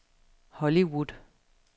Hollywood